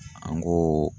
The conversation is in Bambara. An go